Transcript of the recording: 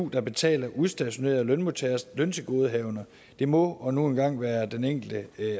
der betaler udstationerede lønmodtageres løntilgodehavender det må nu engang være den enkelte